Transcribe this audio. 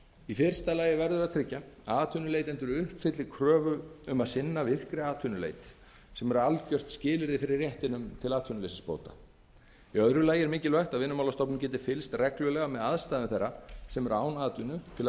í fyrsta lagi verður að tryggja að atvinnuleitendur uppfylli kröfu um að sinna virkri atvinnuleit sem er algjört skilyrði fyrir réttinum til atvinnuleysisbóta í öðru lagi er mikilvægt að vinnumálastofnun geti fylgst reglulega með aðstæðum þeirra sem eru án atvinnu til að